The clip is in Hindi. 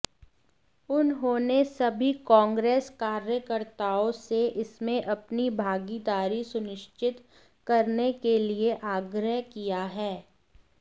उन्होंने सभी कांग्रेस कार्यकर्ताओं से इसमें अपनी भागीदारी सुनिश्चित करने के लिए आग्रह किया है